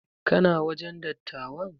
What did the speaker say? Kana wajen dattawan?